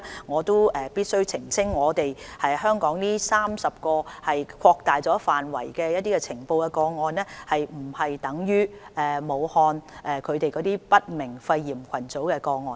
我必須澄清，香港錄得的30宗個案屬擴大範圍的呈報個案，並不等於武漢的不明肺炎群組個案。